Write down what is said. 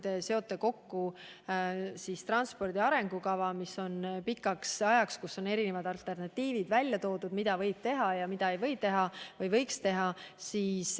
Te seote kokku transpordi arengukava, mis on koostatud pikaks ajaks ja milles on välja toodud mitmeid alternatiive, mida võib teha ja mida võiks teha.